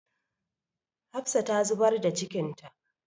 Hafsa ta zubar da cikinta.